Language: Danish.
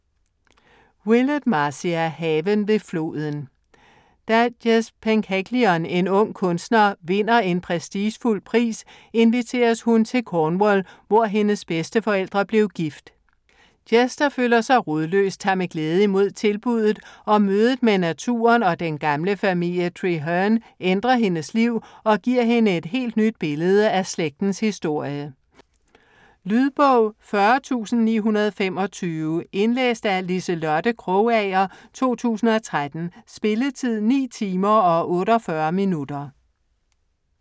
Willett, Marcia: Haven ved floden Da Jess Penhaligon, en ung kunstner, vinder en prestigefuld pris inviteres hun til Cornwall, hvor hendes bedsteforældre blev gift. Jess, der føler sig rodløs tager med glæde imod tilbudet, og mødet med naturen og den gamle familie Trehearne ændrer hendes liv og giver hende et helt nyt billede af slægtens historie. Lydbog 40925 Indlæst af Liselotte Krogager, 2013. Spilletid: 9 timer, 48 minutter.